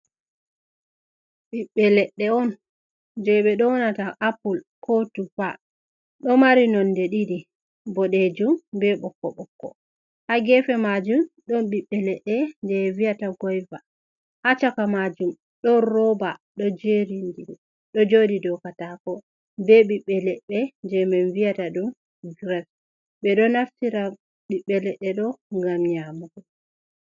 Biɓbe ledde on je be downata apple ko tupa ,do mari nonde didi bodejum be bokko bokko ha gefe majum don bibbe ledde je viyata goyve ha caka majum don roba do jodi do katako ,be bibbe ledde je min viyata dum gras be do naftira bibbe ledde do gam nyamago.